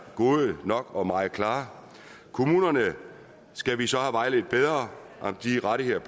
gode nok og meget klare kommunerne skal vi så have vejledt bedre om de rettigheder